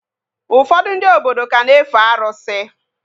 Ụfọdụ ndị obodo ka na-efe arụsị